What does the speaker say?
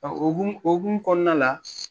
Ɔgumun ogumun kɔnɔna la